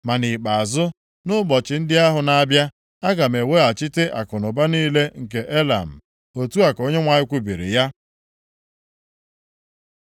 “Ma nʼikpeazụ, nʼụbọchị ndị ahụ na-abịa, aga m eweghachite akụnụba niile nke Elam.” Otu a ka Onyenwe anyị kwubiri ya.